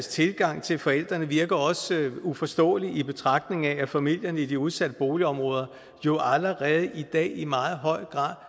tilgang til forældrene virker også uforståeligt i betragtning af at familierne i de udsatte boligområder jo allerede i dag i meget høj grad